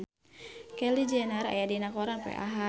Kylie Jenner aya dina koran poe Ahad